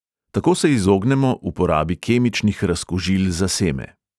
Tako se izognemo uporabi kemičnih razkužil za seme.